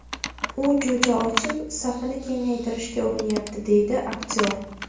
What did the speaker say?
U jo‘ja ochib, safini kengaytirishga urinyapti, – deydi aktyor.